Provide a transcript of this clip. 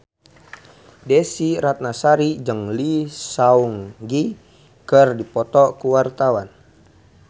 Desy Ratnasari jeung Lee Seung Gi keur dipoto ku wartawan